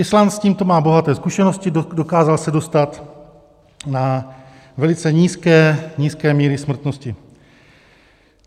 Island s tímto má bohaté zkušenosti, dokázal se dostat na velice nízké míry smrtnosti.